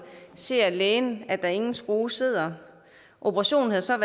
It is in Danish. ser lægen at der ingen skrue sidder operationen havde så